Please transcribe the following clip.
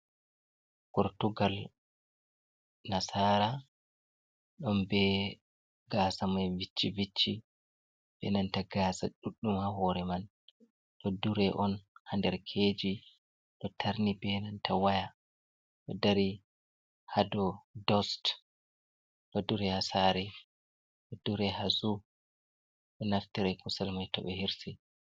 Kortugal nasara ɗon be gasa mai vicchivicci benanta gasa ɗuɗɗum ha hore man ɗo dure on ha der keji ɗo tarni benanta waya ɗo dari hadow dost ɗo dure hasare ɗo dure ha zu ɗo naftire kusal mai to be hirsi.